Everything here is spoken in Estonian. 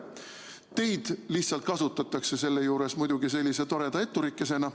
Teid lihtsalt kasutatakse selle juures sellise toreda etturikesena.